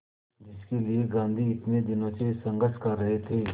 जिसके लिए गांधी इतने दिनों से संघर्ष कर रहे थे